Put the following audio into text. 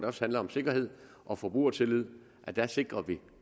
også handler om sikkerhed og forbrugertillid sikrer